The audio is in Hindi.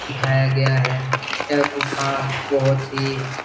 दिखाया गया है यह गुफा बहुत हीं --